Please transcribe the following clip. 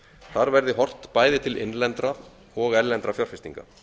þar verði horft bæði til innlendra og erlendra fjárfestinga